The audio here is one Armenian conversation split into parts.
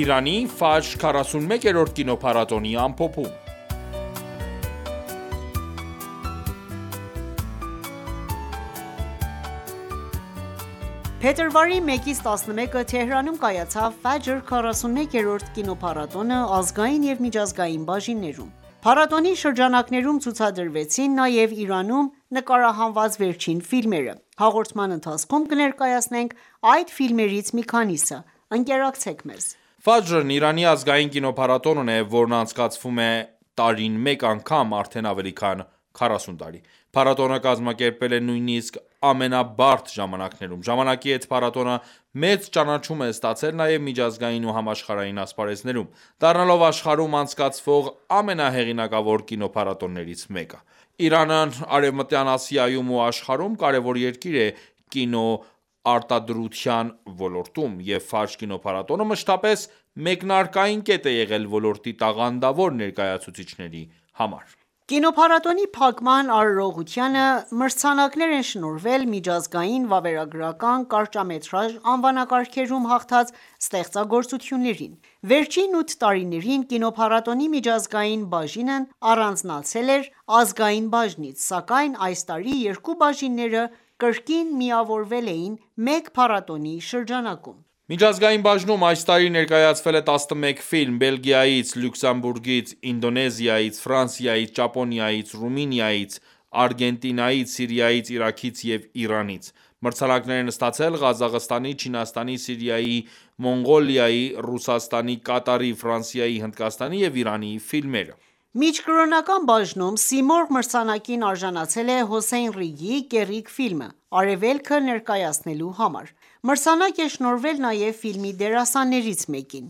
Իրանի «Ֆաջր» 41-րդ կինոփառատոնի ամփոփում Փետրվարի 1-ից 11-ը Թեհրանում կայացավ «Ֆաջր» 41-րդ կինոփառատոնը՝ ազգային և միջազգային բաժիններում: Փառատոնի շրջանակներում ցուցադրվեցին նաև Իրանում նկարահանված վերջին ֆիլմերը: Հաղորդման ընթացքում կներկայացնենք այդ ֆիլմերից մի քանիսը:Ընկերակցեք մեզ։ Ֆաջրն Իրանի ազգային կինոփառատոնն է, որն անցկացվում է տարին մեկ անգամ, արդեն ավելի քան 40 տարի: Փառատոնը կազմակերպվել է նույնսիկ ամենաբարդ ժամանակներում: Ժամանակի հետ փառատոնը մեծ ճանաչում է ստացել նաև միջազգային ու համաշխարհային ասպարեզներում, դառնալով աշխարհում անցկացվող ամենահեղինակավոր կինոփառատոններից մեկը: Իրանն Արևմտյան Ասիայում ու աշխարհում կարևոր երկիր է կինոարտադրության ոլորտում: Եվ Ֆաջր կինոփառատոնը մշտապես մեկնարկային կետ է եղել ոլորտի տաղանդավոր ներկայացուցիչների համար: Կինոփառատոնի փակման արարողությանը մրցանակներ են շնորհվել միջազգային, վավերագրական, կարճամետրաժ անվանակարգերում հաղթած ստեղծագործություններին: Վերջին ութը տարիներին կինոփառատոնի միջազգային բաժինն առանձնացել էր ազգային բաժնից, սակայն այս տարի երկու բաժինները կրկին միավորվել էին մեկ փառատոնի շրջանակում: Միջազգային բաժնում այս տարի ներկայացվել է 11 ֆիլմ՝ Բելգիայից, Լյուքսեմբուրգից, Ինդոնեզիայից, Ֆրանսիայից, Ճապոնիայից, Ռումինիայից, Արգենտինայից, Սիրիայից, Իրաքից և Իրանից: Մրցանակներ են ստացել Ղազախստանի, Չինաստանի, Սիրիայի, Մոնղոլիայի, Ռուսաստանի, Կատարի, Ֆրանսիայի, Հնդկաստանի և Իրանի ֆիլմերը: Միջկրոնական բաժնում Սիմորղ մրցանակին արժանացել է Հոսեյն Ռիգիի «Կեռիկ» ֆիլմը արևելքը ներկայացնելու համար: Մրցանակ է շնորհվել նաև ֆիլմի դերասաններից մեկին: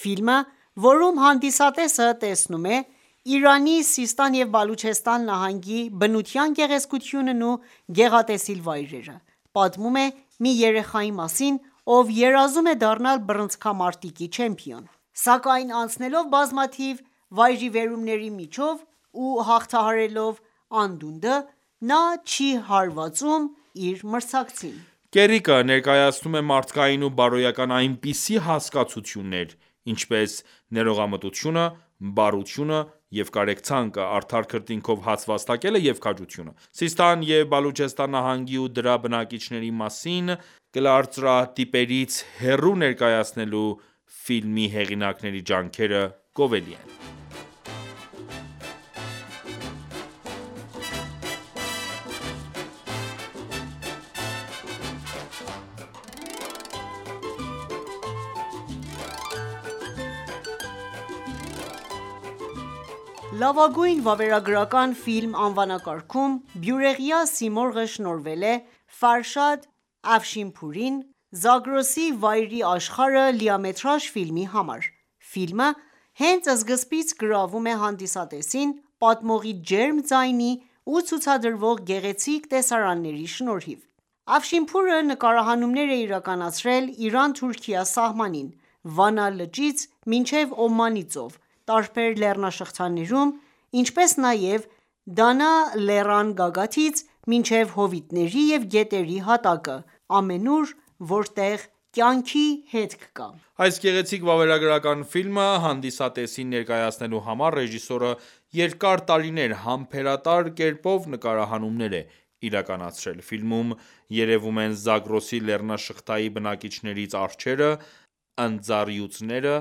Ֆիլմը, որում հանդիսատեսը տեսնում է Իրանի Սիստան և Բալուչեստան նահանգի բնության գեղեցկությունն ու գեղատեսիլ վայրերը, պատմում է մի երեխայի մասին, ով երազում է դառնալ բռնցքամարտի չեմպիոն: Սակայն անցնելով բազմաթիվ վայրիվերումների միջով ու հաղթահարելով անդունդը, նա չի հարվածում իր մրցակցին: «Կեռիկը» ներկայացնում է մարդկային ու բարոյական այնպիսի հասկացություններ, ինչպես՝ ներողամտությունը, բարությունը և կարեկցանքը, արդար քրիտնքով հաց վաստակելը և քաջությունը: Սիստան և Բալուչեստան նահանգի ու դրա բնակիչների մասին կլարծրատիպերից հեռու ներկայացնելու ֆիմի հեղինակների ջանքերը գովելի են: «Լավագույն վավերագրական ֆիլմ» անվանակարգում Բյուրեղյա Սիմորղը շնոհվել է Ֆարշադ Աֆշինփուրին՝ «Զագրոսի վայրի աշխարհը» լիամետրաժ ֆիլմի համար: Ֆիլմը հենց սկզբից գրավում է հանդիսատեսին՝ պատմողի ջերմ ձայնի ու ցուցադրվող գեղեցիկ տեսարանների շնորհիվ: Աֆշինփուրը նկարահանումներ է իրականացրել Իրան-Թուրքիա սահմանին, Վանա լճից մինչև Օմանի ծով, տարբեր լեռնաշղթաներում, ինչպես նաև Դանա լեռան գագաթից մինչև հովիտների և գետերի հատակը, ամենուր, որտեղ կյանքի հետք կա: Այս գեղեցիկ վավերագրական ֆիլմը հանդիսատեսին ներկայացնելու համար, ռեժիսորը երկար տարիներ, համբերատար կերպով նկարահանումներ է իրականացրել: Ֆիլմում երևում են Զագրոսի լեռնաշղթայի բնակիչներից արջերը, ընձառյուծները,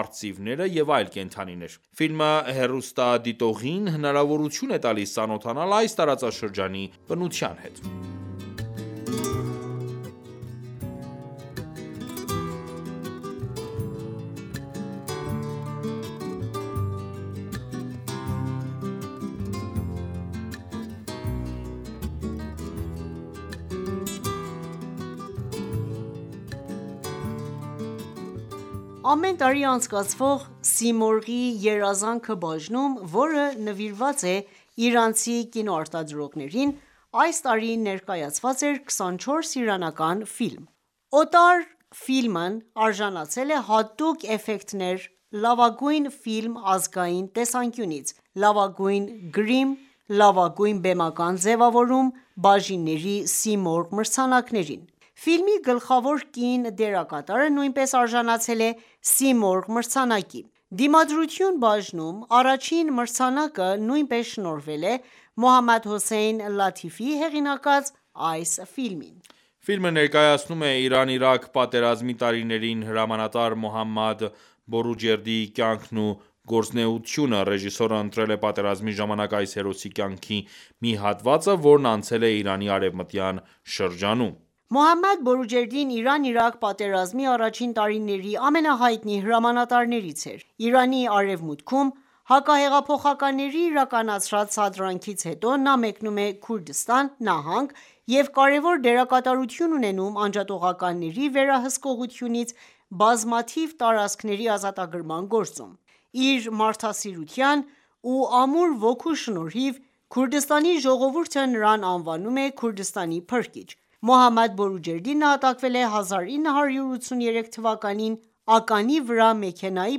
արծիվները և այլ կենդանիներ: Ֆիլմը հեռուստադիտողին հնարավորությունէ տալիս ծանոթանալ այս տարածաշրջանի բնության հետ: Ամեն տարի անցկացվող «Սիմորղի երազանքը» բաժնում, որ նվիրված է իրանցի կինոարտադրողներին, այս տարի ներկայացված էր 24 իրանական ֆիլմ: «Օտարը» ֆիլմն արժանացել է «Հատուկ էֆեկտներ», «Լավագույն ֆիլմ ազգային տեսանկյունից», «Լավագույն գրիմ», «Լավագույն բեմական ձևավորում» բաժինների Սիմորղ մրցանակներին: Ֆիլմի գլխավոր կին դերակատարը նույնպես արժանացել է Սիմորղ մրցանակի: «Դիմադրություն» բաժնում առաջին մրցանակը նույնպես շնորհվել է Մոհամմադ Հոսեյն Լաթիֆիի հեղինակած այս ֆիլմին: Ֆիլմը ներկայացնում է Իրան-Իրաք պատերազմի տարիներին հրամանատար Մոհամմադ Բորուջերդիի կյանքն ու գործունեությունը: Ռեժիսորը ընտրել է պատերազմի ժամանակ այս հերոսի կյանքի մի հատվածը, որն անցել է Իրանի արևւմտյան շրջանում: Մոհամմադ Բորուջերդին Իրան-Իրաք պատերազմի առաջին տարիների ամենահայտնի հրամանատարներից էր: Իրանի արևմուտքում հակահեղափոխականների իրականացրած սադրանքից հետո, նա մեկնում է Քուրդիստան նահանգ և կարևոր դերակատարություն ունենում անջատողականների վերահսկողությունից բազմաթիվ տարածքների ազատագրման գործում: Իր մարդասիրության ու ամուր ոգու շնորհիվ, Քուրդիստանի ժողովուրդը նրան անվանում է «Քուրդիստանի փրկիչ»: Մոհամմադ Բորուջերդին նահատակվել է 1983 թ., ականի վրա մեքենայի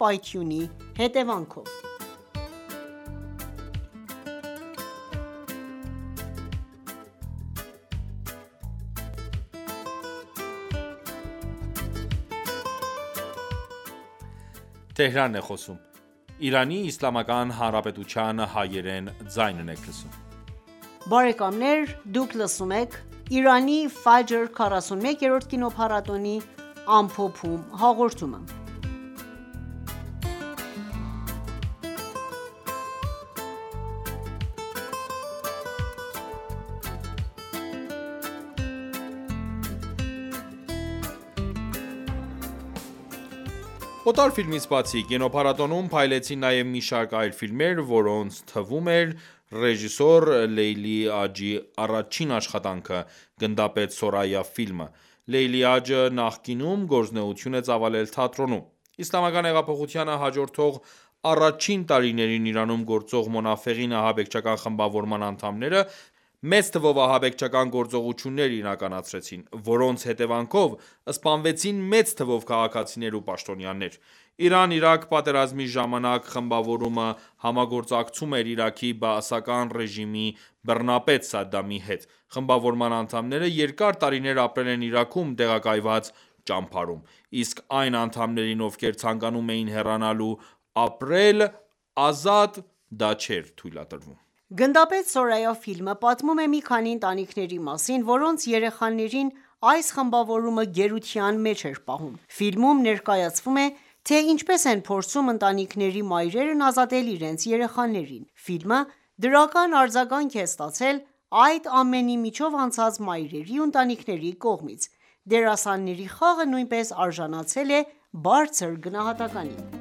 պայթյունի հետևանքով: «Օտարը» ֆիլմից բացի, կինոփառատոնում փայլեցին նաև մի շարք այլ ֆիլմեր, որոնց թվում էր ռեժիսոր Լեյլի Աջի առաջին աշխատանքը՝ «Գնդապետ Սորայա» ֆիլմը: Լեյլի Աջը նախկինում գործունեություն է ծավալել թատրոնում: Իսլամական հեղափոխությանը հաջորդող առաջին տարիներին Իրանում գործող Մոնաֆեղին ահաբեկչական խմբավորման անդամները մեծ թվով ահաբեկչական գործողություններ իրականացրեցին, որոնց հետևանքով սպանվեցին մեծ թվով քաղաքացիներ ու պաշտոնյաներ: Իրան-Իրաք պատերազմի ժամանակ խմբավորումը համագործակցում էր Իրաքի բաասական ռեժիմի բռնապետ Սադդամի հետ: Խմբավորման անդամները երկար տարիներ ապրել են Իրաքում տեղակայված ճամբարում: Իսկ այն անդամներին, ովքեր ցանկանում էին հեռանալ ու ապրել ազատ ապրել, դա չէր թույլատրվում: «Գնդապետ Սորայա» ֆիլմը պատմում է մի քանի ընտանիքների մասին, որոնց երեխաներին այս խմաբովորումը գերության մեջ էր պահում: Ֆիլմում ներկայացվում է, թե ինչպես են փորձում ընտանիքների մայրերն ազատել իրենց երեխաներին: Ֆիլմը դրական արձագանք է ստացել այդ ամենի միջով անցած մայրերի ու ընտանիքների կողմից: Դերասանների խաղը նույնպես արժանացել է բարձր գնահատականի։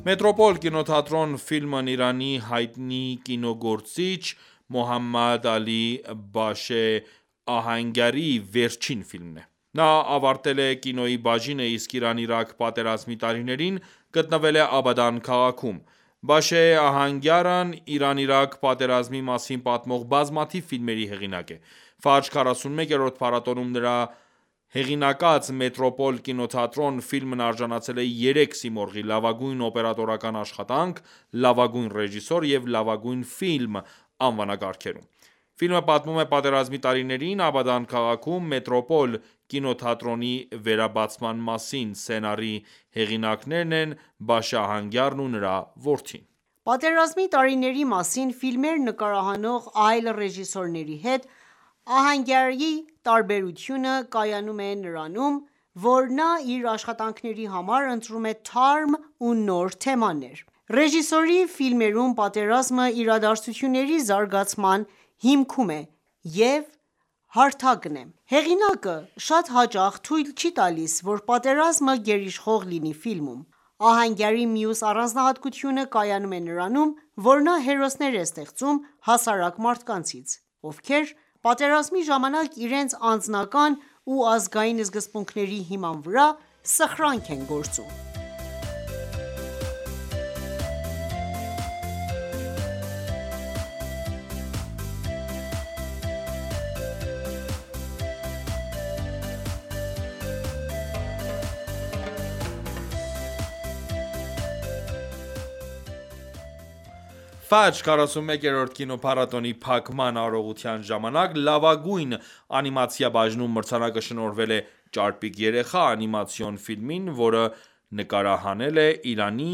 «Մետրոպոլ կինոթատրոն» ֆիլմն Իրանի հայտնի կինոգործիչ Մոհամմադ Ալի Բաշե Ահանգարի վերջին ֆիլմն է։ Նա ավարտել է կինոյի բաժինը, իսկ Իրան-Իրաք պատերազմի տարիներին գտնվել է Աբադան քաղաքում։ Բաշե Ահանգյարն Իրան-Իրաք պատերազմի մասին պատմող բազմաթիվ ֆիլմերի հեղինակ է: Ֆաջր 41-րդ փառատոնում, նրա հեղինակած «Մետրոպոլ կինոթատրոն» ֆիլմն արաժանացել է երեք Սիմորղի՝ «Լավագույն օպերատորական աշխատանք», «Լավագույն ռեժիսոր» և «Լավագույն ֆիլմ» անվանակարգերում: Ֆիլմը պատմում է պատերազմի տարիներին Աբադան քաղաքում «Մետրոպոլ» կինոթատրոնի վերաբացման մասին։ Սցենարի հեղինակներն են Բաշե Ահանգյարն ու նրա որդին: Պատերազմի տարիների մասին ֆիլմեր նկարահանող այլ ռեժիսորների հետ Ահանգյարի տարբերությունը կայանում է նրանում, որ նա իր աշխատանքների համար ընտրում է թարմ ու նոր թեմաներ: Ռեժիսորի ֆիլմերում պատերազմը իրադարձությունների զարգացման հիքմում է և հարթակն է: Հեղինակը շատ հաճախ թույլ չի տալիս, որ պատերազմը գերիշխող լինի ֆիլմում: Ահանգյարի մյուս առանձնահատկությունը կայանում է նրանում, որ նա հերոսներ է ստեղծում հասարակ մարդկանցից, ովքեր պատերազմի ժամանակ, իրենց անձնական ու ազգային սկզբունքների հիման վրա, սխրանք են գործում: Ֆաջր 41-րդ կինոփառատոնի փակման արարողության ժամանակ «Լավագույն անիմացիա» բաժնում մրցանակը շնորհվել է «Ճարպիկ երեխա» անիմացիոն ֆիլմին, որը նկարահանվել է Իրանի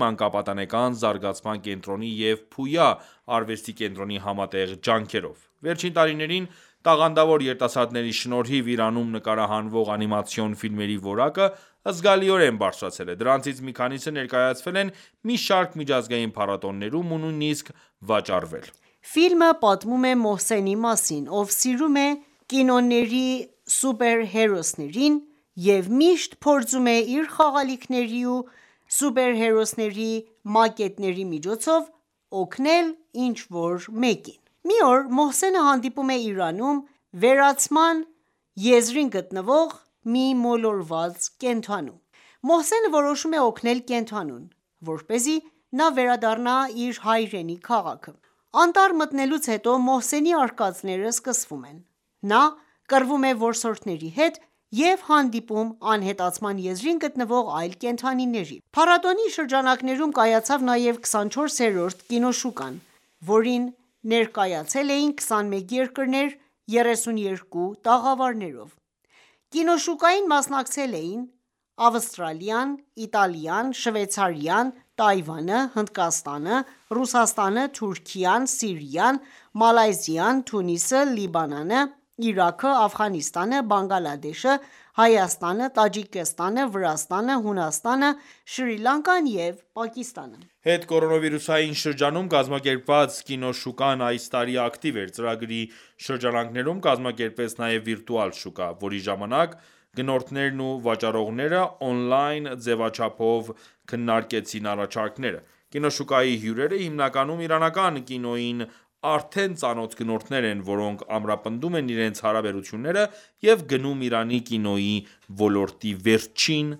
մանկապատանեկան զարգացման կենտրոնի և «Փույա» արվեստի կենտրոնի համատեղ ջանքերով: Վերջին տարիներին, տաղանդավոր երիտասարդների շնորհիվ, Իրանում նկարահանվող անիմացիոն ֆիլմերի որակը զգալիորեն բարրձրացել է: Դրանցից մի քանիսը ներկայացվել են մի շարք միջազգային փառատոներում ու նույնիսկ վաճառվել: Ֆիլմը պատմում է Մոհսենի մասին, ով սիրում է կինոների սուպերհերոսներին և միշտ փորձում է իր խաղալիքների ու սուպերհերոսների մակետների միջոցով օգնել ինչ որ մեկին: Մի օր Մոհսենը հանդիպում է Իրանում վերացման եզրին գտնվող մի մոլորված կենդանու: Մոհսենը որոշում է օգնել կենդանուն, որպեսզի նա վերադառնա իր հայրենի քաղաքը: Անտառ մտնելուց հետո, Մոհսենի արկածները սկսվում են: Նա կռվում է որսորդների հետ և հանդիպում անհետացման եզրին գտնվող այլ կենդանիների: Փառատոնի շրջանակներում կայացավ նաև 24-րդ կինոշուկան, որին ներկայացել էին 21 երկրներ, 32 տաղավարներով: Կինոշուկային մասնակցել էին Ավստրալիան, Իտալիան, Շվեյցարիան, Թայվանը, Հնդկաստանը, Ռուսաստանը, Թուրքիան, Սիրիան, Մալայզիան, Թունիսը, Լիբանանը, Իրաքը, Աֆղանստանը, Բանգլադեշը, Հայաստանը, Տաջիկստանը, Վրաստանը, Հունաստանը, Շրի Լանկան և Պակիստանը։ Հետկորոնավիրուսային շրջանում կազմակերպված կինոշուկան այս տարի ակտիվ էր: Ծրագրի շրջանակներում կազմակերպվեց նաև վիրտուալ շուկա, որի ժամանակ գնորդներն ու վաճառողները օնլայն ձևաչափով քննարկեցին առաջարկները: Կինոշուկայի հյուրերը հիմնականում իրանական կինոյին արդեն ծանոթ գնորդներ են, որոնք ամրապնդում են իրենց հարաբերությունները և գնում Իրանի կինոյի ոլորտի վերջին